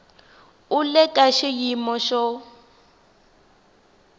u le ka xiyimo xo